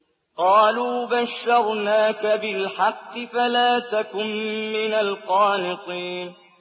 قَالُوا بَشَّرْنَاكَ بِالْحَقِّ فَلَا تَكُن مِّنَ الْقَانِطِينَ